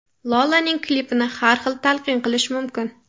Lolaning klipini har xil talqin qilish mumkin.